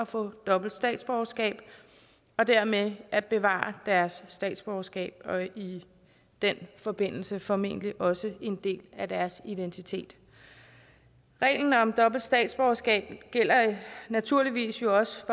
få dobbelt statsborgerskab og dermed at bevare deres statsborgerskab og i den forbindelse formentlig også en del af deres identitet reglen om dobbelt statsborgerskab gælder naturligvis jo også